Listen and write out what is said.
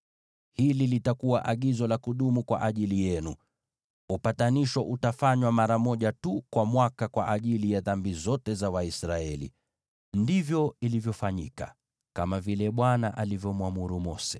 “Hili litakuwa agizo la kudumu kwa ajili yenu: Upatanisho utafanywa mara moja tu kwa mwaka kwa ajili ya dhambi zote za Waisraeli.” Ndivyo ilivyofanyika, kama vile Bwana alivyomwamuru Mose.